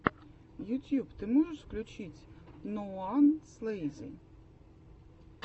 ютьюб ты можешь включить ноууанслэйзи